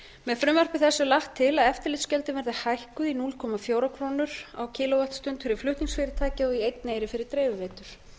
með furmvarði þessu er lagt til að eftirlitsgjöldin verði hækkuð í núll komma fjórum krónum á kílóvattstund fyrir flutningsfyrirtæki og í einn eyri fyrir dreifiveitur